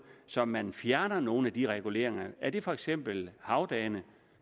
så man fjerner nogle af de reguleringer er det for eksempel havdagene